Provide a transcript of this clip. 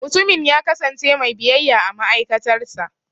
Mutumin ya kasance mai biyayya a ma'aikatar sa.